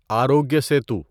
Arogya Setu